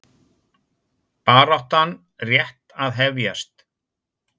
Baráttan rétt að hefjast